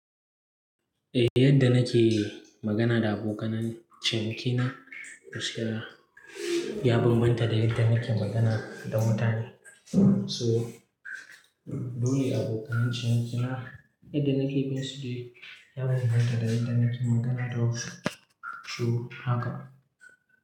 Eh yadda nake magana da abokanai cinikina, ya bambanta da yadda nake magana da mutane. So dole abokanai cinikina yadda nake bin su dai ya bambanta da yadda nake magana da su. So haka.